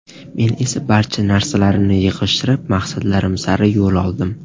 Men esa barcha narsalarimni yig‘ishtirib, maqsadlarim sari yo‘l oldim.